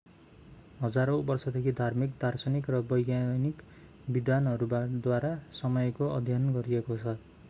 हजारौँ वर्षदेखि धार्मिक दार्शनिक र वैज्ञानिक विद्वानहरूद्वारा समयको अध्ययन गरिएको छ